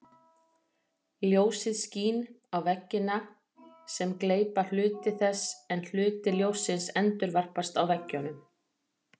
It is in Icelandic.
Ljósið skín á veggina sem gleypa hluta þess en hluti ljóssins endurvarpast frá veggjunum.